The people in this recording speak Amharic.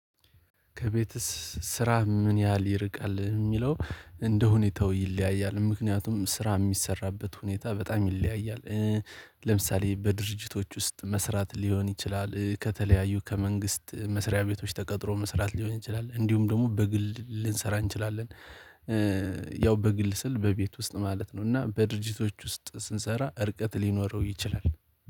ከቤት ስራ ምን ያህል ይርቃል የሚለው እንደሁኔታው ይለያያል ምክንያቱም ስራ የሚሰራበት ሁኔታ በጣም ይለያያል። ለምሳሌ በድርጅቶች ውስጥ መስራት ሊሆን ይችላል ከተለያዩ ከመንግስት መስሪያ ቤቶች ተቀጥሮ መስራት ሊሆን ይችላል እንዲሁም ደግሞ በግል ልንሰራ እንችላለን። ያው በግል ስል በቤት ውስጥ ማለት ነው እና በድርጅቶች ውስጥ ስንሰራ እርቀት ሊኖረው ይችላል።